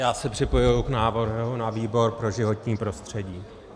Já se připojuji k návrhu na výbor pro životní prostředí.